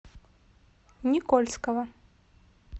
никольского